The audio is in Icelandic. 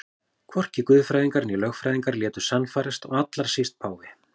Hvorki guðfræðingar né lögfræðingar létu sannfærast og allra síst páfi.